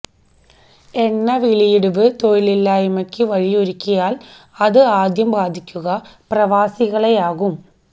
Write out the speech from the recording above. എണ്ണ വിലയിടിവ് തൊഴിലില്ലായ്മയ്ക്ക് വഴിയൊരുക്കിയാല് അത് ആദ്യം ബാധിക്കുക പ്രവാസികളെയാവും